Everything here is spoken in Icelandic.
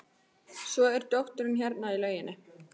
Svo er dóttirin hérna í lauginni.